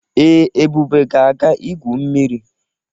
Ee, Ebube ga-aga igwu mmiri.